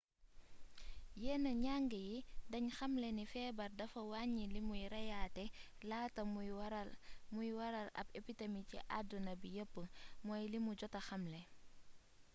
yenn njang yi dañ xamle ni feebar dafa wàññi limuy reyaate laata muy waral ab epidemi ci addina bi yépp mooy limu jota xamle